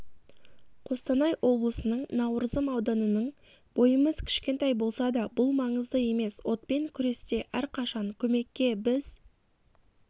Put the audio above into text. қостанай облысының науырзым ауданының бойымыз кішкентай болса да бұл маңызды емес отпен күресте әрқашан көмекке біз